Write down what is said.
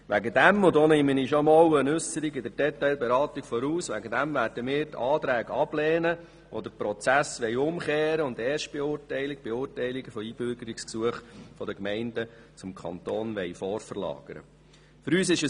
Deshalb – und da nehme ich schon einmal eine Äusserung zur Detailberatung vorweg – werden wir die Anträge ablehnen, die den Prozess umkehren wollen und die Erstbeurteilungen von Einbürgerungsgesuchen von den Gemeinden zum Kanton vorverlagern möchten.